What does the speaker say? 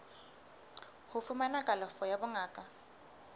ho fumana kalafo ya bongaka